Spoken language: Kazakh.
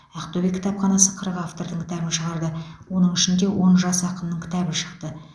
ақтөбе кітапханасы қырық автордың кітабын шығарды оның ішінде он жас ақынның кітабы шықты